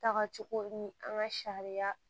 Tagacogo ni an ka sariya